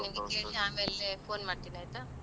ನಾನ್ ನಿನ್ಗೆ ಆಮೇಲೆ phone ಮಾಡ್ತಿನಿ ಆಯ್ತಾ.